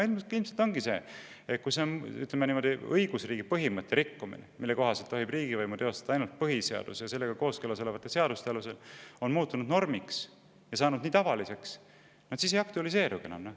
Ilmselt ongi nii, et kui õigusriigi põhimõtte – mille kohaselt tohib riigivõimu teostada ainult põhiseaduse ja sellega kooskõlas olevate seaduste alusel – rikkumine on muutunud normiks ja saanud tavaliseks, siis see ei aktualiseerugi enam.